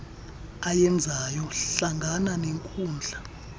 ayenzayo hlangana nenkundla